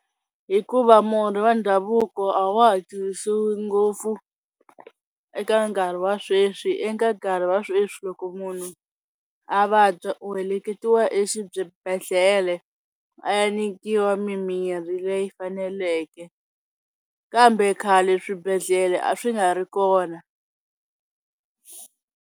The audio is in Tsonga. Hikuva murhi va ndhavuko a wa ha tirhisiwi ngopfu eka nkarhi wa sweswi eka nkarhi wa sweswi loko munhu a vabya u heleketiwa a ya nikiwa mimirhi leyi faneleke kambe khale swibedhlele a swi nga ri kona.